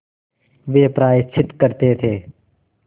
वे प्रायश्चित करते थे